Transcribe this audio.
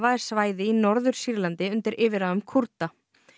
er svæði í Norður Sýrlandi undir yfirráðum Kúrda